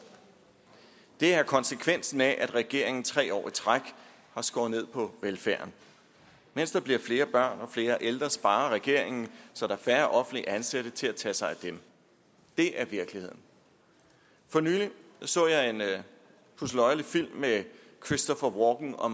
det er konsekvensen af at regeringen tre år i træk har skåret ned på velfærden mens der bliver flere børn og flere ældre sparer regeringen så der er færre offentligt ansatte til at tage sig af dem det er virkeligheden for nylig så jeg en pudseløjerlig film med christopher walken og